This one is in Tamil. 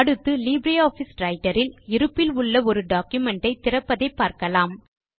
அடுத்து லீப்ரே ஆஃபிஸ் ரைட்டர் இல் இருப்பில் உள்ள ஒரு டாக்குமென்ட் ஐ திறப்பதை பார்க்கலாம்